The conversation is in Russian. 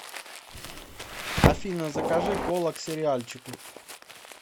афина закажи кола к сериальчику